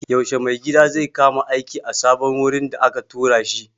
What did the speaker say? Yaushe mai gadi zai kama aiki a sabon wurin da aka tura shi?